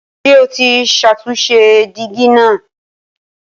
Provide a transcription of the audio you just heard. Ṣé o ti ṣàtúnṣe dígí náà?